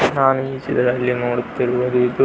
ನಾನು ಈ ಚಿತ್ರದಲ್ಲಿ ನೋಡುತ್ತಿರುವುದು ಇದು --